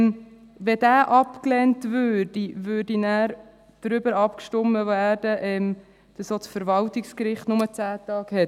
Wenn dieser abgelehnt würde, würde nachher darüber abgestimmt, dass auch das Verwaltungsgericht nur eine Frist von 10 Tage hat.